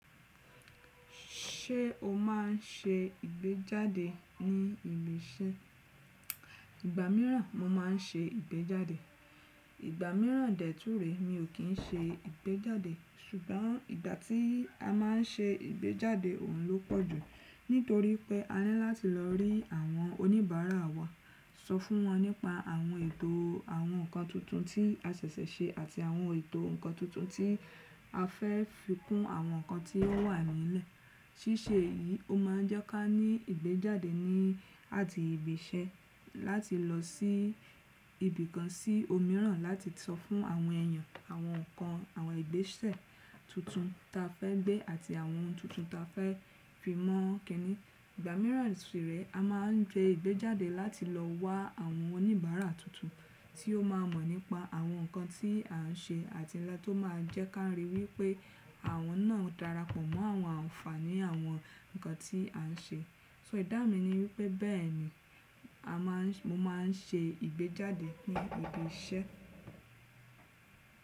Ṣé o má n ṣe ìgbéjáde ní ibi iṣẹ́? Ìgbà míràn mo ma n ṣe ìgbéjáde, ìgbà míràn dè tún rèé mi ò kín n ṣe ìgbéjáde. Ṣùgbọ́n ìgbà tí a má ń ṣe ìgbéjáde òhun ló pọ̀ jù. Nítorí pé a níláti lọ rí àwọn oníbàárà wa, sọ fún wọn nípa àwọn ètò àwọn ǹkan tuntun tí a ṣẹ̀ṣẹ̀ ṣe àti àwọn ètò ǹkan tuntun tí a fẹ́ fi kún àwọn ǹkan tí ó wà nílẹ̀. Síṣe èyí ó ma ń jẹ́ ká ní ìgbéjáde ní àti ibi iṣẹ́ láti lọ sí ibìkan sí omíìràn láti sọ fún àwọn èyàn àwọn ǹkan àwọn ìgbésẹ̀ tuntun ta fẹ́ gbé àti àwọn ohun tuntun ta fẹ́ fi mọ́ kiní. Ìgbà míràn sì rèé a máa ń ṣe ìgbéjáde láti lọ wá àwọn oníbàárà tuntun tí ó máa mọ̀ nípa àwọn nǹkan tí à ń ṣe àti nǹkan tó ma ń jẹ́ ká ríi wípé àwọn náà darapọ̀ mọ́ àwọn àǹfààní àwọn nǹkan tí à ń ṣe. So ìdáhùn mi ni wípé bẹ́ẹ̀ni a máa ń, mo máa ń ṣe ìgbéjáde ní ibi iṣẹ́.